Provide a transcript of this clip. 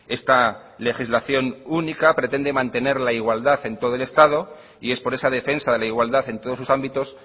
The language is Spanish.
esta legislación única pretende mantener la igualdad en todo el estado y es por esa defensa de la igualdad en todos sus ámbitos